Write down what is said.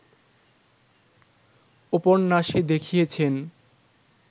উপন্যাসে দেখিয়েছেন